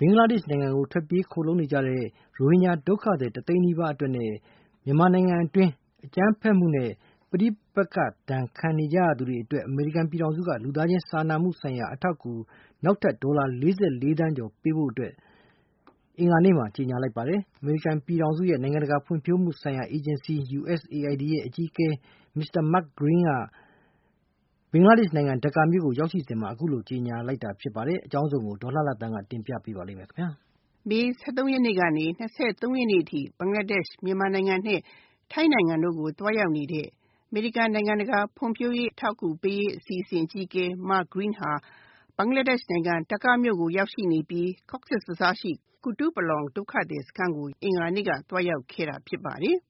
ဘင်္ဂလားဒေ့ရှ်နိုင်ငံကိုထွက်ပြေးခိုလုံနေကြရတဲ့ ရိုဟင်ဂျာဒုက္ခသည် ၁ သိန်းနီးပါး မြန်မာနိုင်ငံအတွင်း အကြမ်းဖက်မှုနဲ့ ပဋိပက္ခဒဏ် ခံနေကြရသူတွေအတွက် အမေရိကန်ပြည်ထောင်စုက လူသားချင်းစာနာမှုဆိုင်ရာအထောက်အကူ နောက်ထပ် ဒေါ်လာ ၄၄ သန်းကျော်ပေးဖို့အတွက် အင်္ဂါနေ့မှာကြေညာလိုက်ပါတယ်။ အမေရိကန်ပြည်ထောင်စုရဲ့ နိုင်ငံတကာဖွံ့ဖြိုးမှုဆိုင်ရာ အေဂျင်စီ USAID အကြီးအကဲ Mr. Mark Green ဟာ ဘင်္ဂလားဒေ့ရှ်နိုင်ငံ ဒါကာမြို့ရောက်ရှိစဉ်မှာ အခုလို ကြေညာလိုက်တာဖြစ်ပါတယ်။ အကြောင်းစုံကို ဒေါ်လှလှသန်းက ပြောပြမှာပါ။ မေ ၁၃ ကနေ ၂၃ ရက်နေ့အထိ ဘင်္ဂလားဒေ့ရှ်၊ မြန်မာ ၊ ထိုင်းနိုင်ငံတို့ကို သွားရောက်နေတဲ့ အမေရိကန် နိုင်ငံတကာဖွံ့ဖြိုးရေးအထောက်အကူပေးရေး အစီအစဉ် အကြီးအကဲ Mark Green ဟာ ဘင်္ဂလားဒေ့ရှ်နိုင်ငံ ဒါကာမြို့ရောက်ရှိနေပြီး Cox's bazar ရှိ ကူတုပလောင် ဒုက္ခသည်စခန်းကို အင်္ဂါနေ့က သွားရောက်ခဲ့တာဖြစ်ပါတယ်။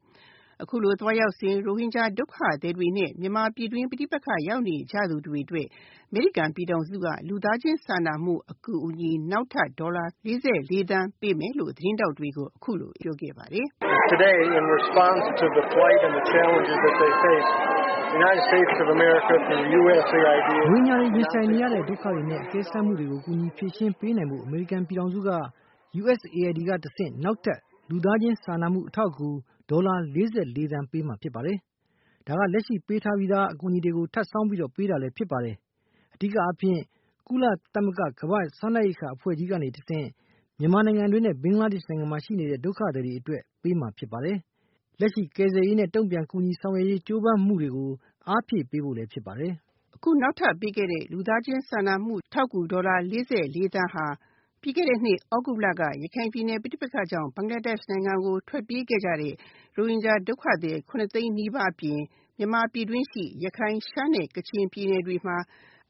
အခုလို သွားရောက်စဉ် ရိုဟင်ဂျာ ဒုက္ခသည်တွေနဲ့ မြန်မာပဋိပက္ခရောက်နေသူတွေအတွက် အမေရိကန်ပြည်ထောင်စုက လူသားချင်းစာနာမှုဆိုင်ရာအထောက်အကူ နောက်ထပ် ဒေါ်လာ ၄၄ သန်းပေးမယ်လို့ သတင်းထောက်တွေကို အခုလိုပြောပါတယ်။ "ရိုဟင်ဂျာတွေရင်ဆိုင်နေရတဲ့ ဒုက္ခတွေနဲ့ အကဲစမ်းမူတွေကို ကူညီဖြေရှင်းပေးနိုင်ဖို့ အမေရိကန်ပြည်ထောင်စုက USAID ကတဆင့် နောက်ထပ် လူသားချင်းစာနာမှုဆိုင်ရာအထောက်အကူ ဒေါ်လာ ၄၄ သန်းပေးမှာဖြစ်ပါတယ်။ ဒါက လက်ရှိပေးထားပြီးသား အကူအညီတွေကို ထပ်စောင်းပြီးတော့လည်းပေးတာဖြစ်ပါတယ်။ အဓိကအားဖြင့် ကုလသမဂ္ဂ ကမ္ဘာစားနပ်ရိက္ခာ အဖွဲ့ကြီးကနေ တဆင့် မြန်မာနိုင်ငံအတွင်းနဲ့ ဘင်္ဂလားဒေ့ရှ်မှာရှိနေတဲ့ ဒုက္ခသည်တွေအတွက် ပေးမှာဖြစ်ပါတယ်။ လက်ရှိကယ်ဆယ်ရေးနဲ့ တုံ့ပြန်ကူညီဆောင်ရွက်ရေးကြိုးပမ်းမှုတွေကို အားပေးဖို့လည်းဖြစ်ပါတယ်။" အခု နောက်ထပ်ပေးမယ့် လူသားချင်းစာနာမှုဆိုင်ရာအထောက်အကူ ဒေါ်လာ ၄၄ သန်းဟာ ပြီးခဲ့တဲ့နှစ် သြဂုတ်လက ရခိုင်ပြည်နယ် ပဋိပက္ခကြောင့် ဘင်္ဂလားဒေ့ရှ်ဘက်ကို ထွက်ပြေးခဲ့ရတဲ့ ဒုက္ခသည် ၇ သိန်းနီးပါးအပြင် ၊ မြန်မာပြည်တွင်းရှိ ရခိုင်၊ ရှမ်းနဲ့ ကချင်ပြည်နယ်တွေမှာ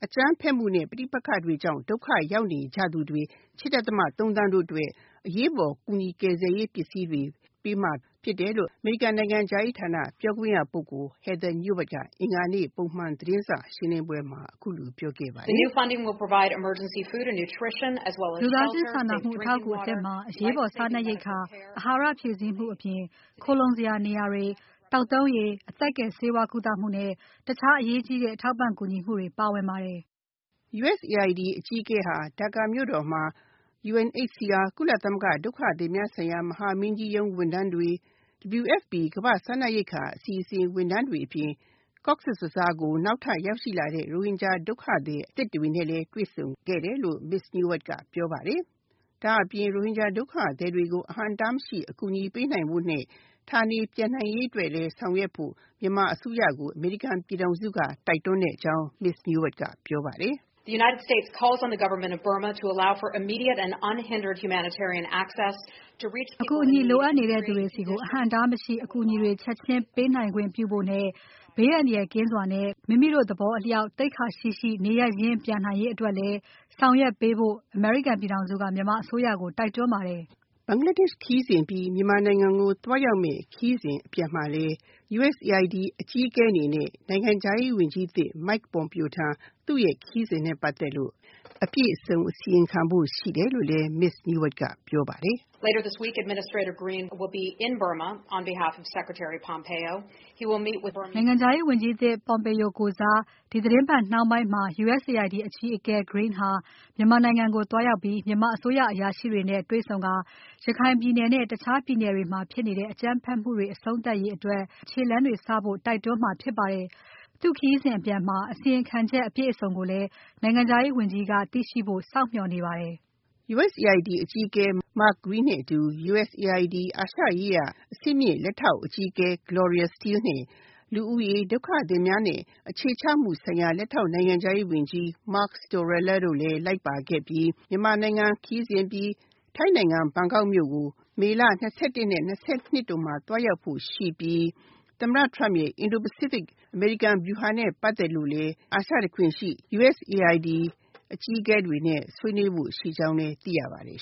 အကြမ်းဖက်မှုနဲ့ ပဋိပက္ခတွေကြောင့် ဒုက္ခရောက်နေကြသူတွေ ၈.၃ သန်းတို့အတွက် အရေးပေါ်ကူညီရေးပစ္စည်းတွေပေးမှာဖြစ်တယ်လို့ အမေရိကန် နိုင်ငံခြားရေး ဝန်ကြီးဌာန ပြောခွင့်ရ Heather Nauert က အင်္ဂါနေ့ ပုံမှန်သတင်းစာရှင်းလင်းပွဲမှာ အခုလိုပြောပါတယ်။ " လူသားချင်းစာနာမူအထောက်အကူအသစ်မှာ အရေးပေါ်စားနပ်ရိက္ခာ အဟာရဖြည့်ဆည်းမှု အပြင် နေစရာ၊ သောက်သုံးရေ၊ အသက်ကယ်ဆေးဝါးကုသမှုနဲ့ တခြားအရေးကြီးတဲ့အထောက်အပံ့ကူညီမှုတွေပါဝင်ပါတယ်။" USAID အကြီးအကဲဟာ ဒါကာမြို့တော်မှာ UNHCR ကုလသမဂ္ဂဒုက္ခသည်များဆိုင်ရာ မဟာမင်းကြီးရုံးဝန်ထမ်းတွေ ၊ WFP ကမ္ဘာ့စားနပ်ရိက္ခာအစီအစဉ်ဝန်ထမ်းတွေ အပြင် cox's bazar ကို နောက်ထပ်ရောက်ရှိလာတဲ့ ရိုဟင်ဂျာ ဒုက္ခသည်အသစ်တွေနဲ့ တွေ့ဆုံခဲ့တယ်လို့ Heather Nauert ကပြောပါတယ်။ ဒါ့အပြင် ရိုဟင်ဂျာ ဒုက္ခသည်တွေကို အဟန့်အတားမရှိအကူအညီပေးနိုင်ဖို့နဲ့ ဌာနေပြန်နိုင်ရေးအတွက်လည်းဆောင်ရွက်ဖို့ မြန်မာအစိုးရကို အမေရိကန်ပြည်ထောင်စုက တိုက်တွန်းကြောင်း Ms. Heather Nauert ကပြောပါတယ်။ "အကူအညီလိုအပ်နေသူတွေဆီကို အဟန့်အတားမရှိ အကူအညီတွေ ချက်ချင်းပေးနိုင်ခွင့်ပြုဖို့နဲ့ ဘေးအန္တရာယ်ကင်းစွာနဲ့ မိမိတို့သဘောအလျောက်နေရပ်ရင်းပြန်နိုင်ရေးအတွက် ဆောင်ရွက်ပေးဖို့လည်း အမေရိကန်ပြည်ထောင်စုက မြန်မာအစိုးရကိုတိုက်တွန်း ပါတယ်။" ဘင်္ဂလားဒေ့ရှ်ခရီးစဉ်အပြီး မြန်မာနိုင်ငံကိုသွားရောက်မယ့် ခရီးစဉ်အတွက်လည်း USAID အကြီးအကဲအနေ နဲ့ နိုင်ငံခြားရေးဝန်ကြီးအသစ် Mike Pompeo ထံ သူ့ခရီးစဉ်နဲ့ပတ်သက်လို့ အပြည့်အစုံအစီရင်ခံဖို့ရှိတယ်လို့ Ms. Nauert ကပြောပါတယ်။ "နိုင်ငံခြားရေးဝန်ကြီးအသစ် Pompeo ကိုယ်စား ဒီသီတင်းပတ်နှောင်းပိုင်းမှာ USAID အကြီးအကဲ Mr. Green ဟာ မြန်မာနိုင်ငံကို သွားရောက်ပြီး မြန်မာအစိုးရအရာရှိတွေနဲ့ တွေ့ဆုံပြီး ရခိုင်ပြည်နယ်နဲ့ တခြားပြည်နယ်တွေမှာဖြစ်နေတဲ့ အကြမ်းဖက်မှုအဆုံးသတ်ရေးအတွက်ခြေလှမ်းတွေစဖို့တိုက်တွန်းမှာဖြစ်ပါတယ်။ သူ့ခရီးစဉ်အပြန်မှာ အစီရင်ခံချက်အပြည့်အစုံကိုလည်း နိုင်ငံခြားရေးဝန်ကြီးက သိရှိဖို့ စောင့်မျှော်နေပါတယ်။" USAID အကြီးအကဲ Mark Green နဲ့အတူ USAID အာရှရေးရာ အဆင့်မြင့်လက်ထောက် အကြီးအကဲ Gloria Steele နဲ့ လူဦးရေ၊ ဒုက္ခသည်များနဲ့ အခြေချမှုဆိုင်ရာ လက်ထောက်နိုင်ငံခြားရေးဝန်ကြီး Mark Storella တို့လည်းလိုက်ပါခဲ့အပြီး မြန်မာနိုင်ငံခရီးစဉ်အပြီး ထိုင်းနိုင်ငံ ဘန်ကောက်ကို မေလ ၂၁ နဲ့ ၂၂ တို့မှာ သွားရောက်ဖို့ရှိပြီး သမ္မတ Trump ရဲ့ အင်ဒိုပစိဖိတ် အင်ဒိုဗျူဟာနဲ့ ပတ်သက်လို့လည်း USAID အကြီးအကဲ တွေနဲ့ ဆွေးနွေးဖို့ရှိကြောင်းလည်း သိရပါတယ်